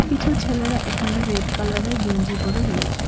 কিছু ছেলেরা এখানে রেড কালারের গেঞ্জি পরে রয়েছে।